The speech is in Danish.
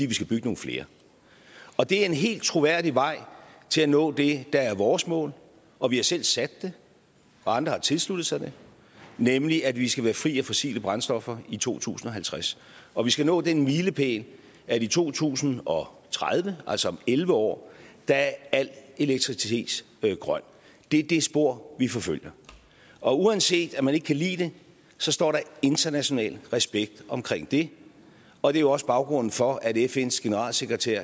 vi skal bygge nogle flere det er en helt troværdig vej til at nå det der er vores mål og vi har selv sat det og andre har tilsluttet sig det nemlig at vi skal være fri af fossile brændstoffer i to tusind og halvtreds og vi skal nå den milepæl at i to tusind og tredive altså om elleve år er al elektricitet grøn det er det spor vi forfølger og uanset at man ikke kan lide det står der international respekt omkring det og det er også baggrunden for at fns generalsekretær